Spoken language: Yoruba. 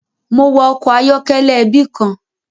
Mo wa ọkọ ayọkẹlẹ ẹbi kan.